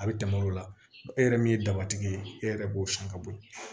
A bɛ tɛmɛ o la e yɛrɛ min ye dabatigi ye e yɛrɛ b'o san ka bɔ ye